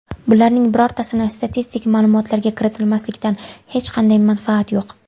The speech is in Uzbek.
Bularning birortasini statistik ma’lumotlarga kiritmaslikdan hech qanday manfaat yo‘q.